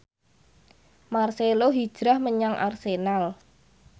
marcelo hijrah menyang Arsenal